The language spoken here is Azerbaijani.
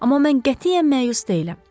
Amma mən qətiyyən məyus deyiləm.